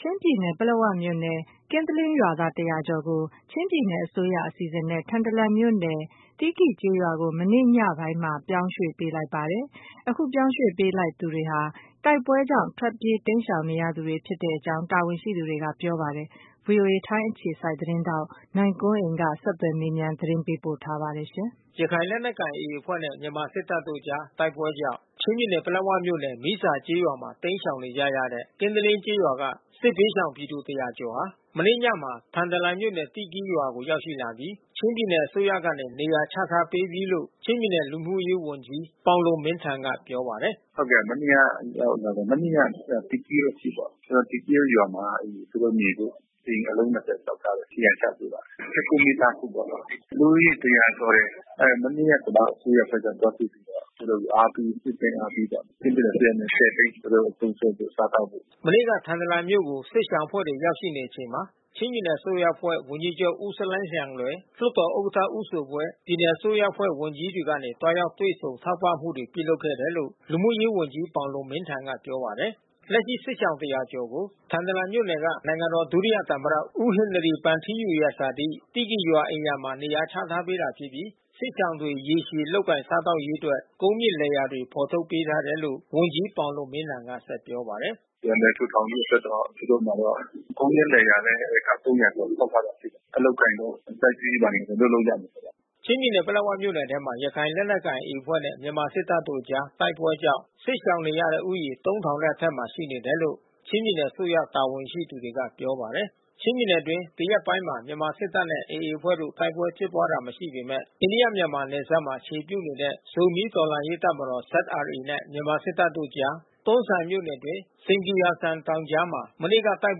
ချင်းပြည်နယ် ပလက်ဝမြို့နယ် ကင်းသလင်းရွာသား ၁၀၀ ကျော်ကို ချင်းပြည်နယ်အစိုးရ အစီအစဉ်နဲ့ ထန်တလန်မြို့နယ် သီးကီရ်ကျေးရွာကို မနေ့ညပိုင်းမှာ ပြောင်းရွှေ့ပေးလိုက်ပါတယ်။ အခုပြောင်းရွှေ့ပေးလိုက်သူတွေဟာ တိုက်ပွဲကြောင့် ထွက်ပြေး တိမ်းရှောင်နေရသူတွေ ဖြစ်တဲ့အကြောင်း တာဝန်ရှိတွေက ပြောပါတယ်။ အပြည့်အစုံကို ဗွီအိုအေသတင်းထောက် နိုင်ကွန်းအိန်က ဆက်သွယ်မေးမြန်း သတင်းပေးပို့ထားပါတယ်။ ရခိုင်လက်နက်ကိုင် AA အဖွဲ့နဲ့ မြန်မာစစ်တပ်တို့အကြား တိုက်ပွဲကြောင့် ချင်းပြည်နယ် ပလက်ဝမြို့နယ် မီးဇာကျေးရွာမှာ တိမ်းရှောင်နေကြတဲ့ ကင်းတလင်းကျေးရွာက စစ်ဘေးရှောင်ပြည်သူ ၁၀၀ ကျော်ဟာ မနေ့ညမှာ ထန်တလန်မြို့နယ် သီးကီရ်ရွာကို ရောက်ရှိပြီး ချင်းပြည်နယ်အစိုးရကနေ နေရာချထားပေးပြီးလို့ ချင်းပြည်နယ် လူမှုရေးဝန်ကြီး ပေါင်လွန်မင်းထန်က ပြောပါတယ်။ “မနေ့က ရောက်လာတယ်။ မနေ့က သီးကီရ်အထိပေါ့။ သီးကီရ်ရွာမှာ သူတို့နေဖို့ အိမ်အလုံး ၂၀ ဆောက်ထားတယ်။ နေရာချပေးပါတယ်။ ၁၉ မိသားစုပေါ့နော်။ လူဦးရေ ၁၀၀ ကျော်တယ်။ မနေ့က ကျနော်တို့အစိုးရအဖွဲ့က သွားတွေ့ပြီးတော့ သူတို့ကို နှစ်သိမ့်အားပေးကြတယ်။ ချင်းပြည်နယ်အစိုးရက ၁၀ သိန်း သူတို့သုံးစွဲဖို့ စားသောက်ဖို့။” မနေ့က ထန်တလန်မြို့ကို စစ်ရှောင်အဖွဲ့တွေ ရောက်ရှိချိန်မှာ ချင်းပြည်နယ်အစိုးရအဖွဲ့ ဝန်ကြီးချူပ် ဦးဆလိုင်းလျန်လွယ်၊ လွှတ်တော်ဥက္ကဋ္ဌ ဦးဇိုဘွေ့၊ ပြည်နယ်အစိုးရအဖွဲ့ ဝန်ကြီးတွေကနေ သွားရောက်တွေ့ဆုံ ထောက်ပံ့မှုတွေ ပြုလုပ်ခဲ့တယ်လို့ လူမှုရေးဝန်ကြီး ပေါင်လွန်မင်းထန်က ပြောပါတယ်။ လက်ရှိ စစ်ရှောင် ၁၀၀ ကျော်ကို ထန်တလန်မြို့နယ်က နိုင်ငံတော်ဒုသမ္မတ ဦးဟင်နရီဗန်ထီးယူရဲ့ ဇာတိ သီးကီရ်ရွာ အိမ်ရာမှာ နေရာချထားပေးတာဖြစ်ပြီး စစ်ရှောင်တွေ ရေရှည်လုပ်ကိုင် စားသောက်ရေးအတွက် ကုန်းမြင့်လယ်ယာတွေ ဖော်ထုတ်ပေးထားတယ်လို့ ဝန်ကြီး ပေါင်လွန်မင်းထန်က ဆက်ပြောပါတယ်။ “ပြန်လည်ထူထောင်ရေးအတွက်တော့ သူတို့မှာတော့ ကုန်းမြင့်လယ်ယာလည်း ဧက ၃၀၀ ကျော် ထုတ်ထားတာရှိတယ်။ အလုပ်အကိုင်တို့ စိုက်ပျိုးရေးဘာတွေတော့ လုပ်လို့ရတယ်ပေါ့။” ချင်းပြည်နယ် ပလက်ဝမြို့နယ်ထဲမှာ ရခိုင်လက်နက်ကိုင် AA အဖွဲ့နဲ့ မြန်မာစစ်တပ်တို့အကြား တိုက်ပွဲကြောင့် စစ်ရှောင်နေရတဲ့ဦးရေ ၃၀၀၀ နဲ့အထက်မှာ ရှိနေတယ်လို့ ချင်းပြည်နယ်အစိုးရ တာဝန်ရှိသူတွေက ပြောပါတယ်။ ချင်းပြည်နယ်အတွင်း ဒီရက်ပိုင်းမှာ မြန်မာစစ်တပ်နဲ့ AA အဖွဲ့တို့ တိုက်ပွဲဖြစ်ပွားတာ မရှိပေမယ့် အိန္ဒိယ-မြန်မာနယ်စပ်မှာ အခြေပြုနေတဲ့ ဇိုမီး တော်လှန်ရေးတပ်မတော် နဲ့ မြန်မာစစ်တပ်တို့အကြား တွန်းဇံမြို့နယ်အတွင်း စိန်ဂီယာလ်ဇန် တောင်ကြားမှာ မနေ့က တိုက်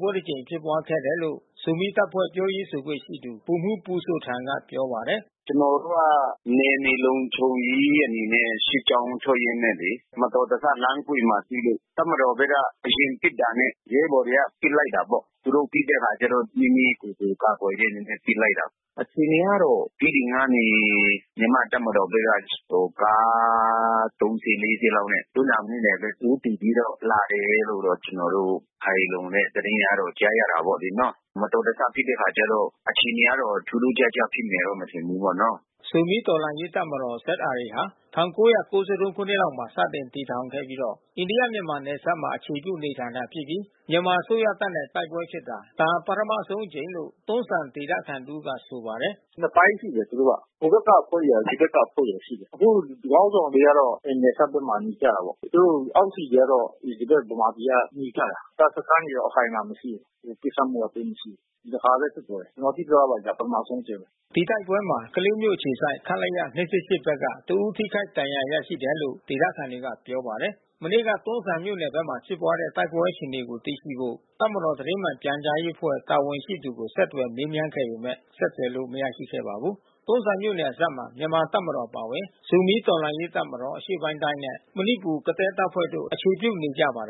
ပွဲတကြိမ် ဖြစ်ပွားခဲ့တယ်လို့ ဇိုမီးတပ်ဖွဲ့ ပြောရေးဆိုခွင့်ရှိသူ ဗိုလ်မှူး ပူဇိုထန်က ပြောပါတယ်။ “ကျနော်တို့က နယ်မြေလုံခြုံရေးအနေနဲ့ စစ်ကြောင်းထွက်ရင်းနဲ့လေ။ မတော်တဆ လမ်းအကွေ့မှာတွေ့လို့ တပ်မတော်ဘက်က အရင်ပစ်တာနဲ့ ရဲဘော်တွေက ပစ်လိုက်တာပေါ့။ သူတို့ပစ်တဲ့အခါကျတော့ မိမိကိုယ်ကို ကာကွယ်တဲ့အနေနဲ့ ပစ်လိုက်တာပေါ့။ အခြေအနေကတော့ တီးတိန်ကနေ မြန်မာ့တပ်မတော်ဘက်က ကားသုံးစီး လေးစီးလောက်နဲ့ တွန်းဇံမြို့နယ်ထဲ ဦးတည်ပြီးတော့ လာတယ်လို့ ကျနော်တို့ ခိုင်လုံတဲ့ သတင်းကတော့ ကြားရတယ်ပေါ့နော်။ မတော်တဆ ဖြစ်တဲ့အခါကျတော့ အခြေအနေကတော့ ထူးထူးခြားခြားဖြစ်မယ်တော့ မထင်ဘူးပေါ့နော။” ဇိုမီးတော်လှန်ရေးတပ်မတော် ဟာ ၁၉၉၃ ခုနှစ်မှာ စတင်တည်ထောင်ခဲ့ပြီးတော့ အိန္ဒိယ-မြန်မာ နယ်စပ်မှာ အခြေပြု နေထိုင်တာဖြစ်ပြီး မြန်မာအစိုးရတပ်နဲ့ တိုက်ပွဲဖြစ်တာ ဒါ ပထမဆုံးအကြိမ်လို့ တွန်းဇံဒေသခံတဦးက ဆိုပါတယ်။ “နှစ်ပိုင်းရှိတယ် သူတို့က။ ဟိုဘက်ကအဖွဲ့ရယ် ဒီဘက်ကအဖွဲ့ရယ် ဆိုတာရှိတယ်။ သူတို့ခေါင်းဆောင်တွေကတော့ နယ်စပ်ဘက်မှာ နေကြတာပေါ့။ သူတို့အောက်ခြေကတော့ ဒီဘက် ဗမာပြည်ကနေကြတာ။ တပ်စခန်းတွေတော့ အခိုင်အမာမရှိဘူး။ ပစ်ခတ်မှုက သိပ်မရှိဘူး။ ဒီတခါပဲ ဖြစ်သွားတယ်။ ကျနော်သိသလောက်တော့ ဒါ ပထမဦးဆုံးအကြိမ်ပဲ။” ဒီတိုက်ပွဲမှာ ကလေးမြို့အခြေစိုက် ခလရ ၂၂၈ ဘက်က တဦး ထိခိုက်ဒဏ်ရာ ရရှိတယ်လို့ ဒေသခံတွေက ပြောပါတယ်။ မနေ့က တွန်းဇံမြို့နယ်ဘက်မှာ ဖြစ်ပွားတဲ့ တိုက်ပွဲအခြေအနေကို သိရှိဖို့ တပ်မတော် သတင်းမှန်ပြန်ကြားရေးအဖွဲ့ တာဝန်ရှိသူကို ဆက်သွယ်မေးမြန်းခဲ့ပေမယ့် ဆက်သွယ်လို့ မရခဲ့ပါဘူး။ တွန်းဇံမြို့ နယ်စပ်ဘက်မှာ မြန်မာတပ်မတော် အပါအဝင် ဇိုမီးတော်လှန်ရေးတပ်မတော် နဲ့ မဏိပူရ် ကသည်းတပ်ဖွဲ့တို့ အခြေပြုနေကြပါတယ်